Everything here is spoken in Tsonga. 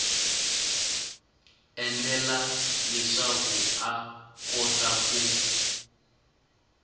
endlela leswaku a kota ku